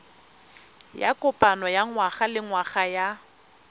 ya kopano ya ngwagalengwaga ya